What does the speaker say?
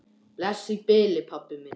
Bless í bili, pabbi minn.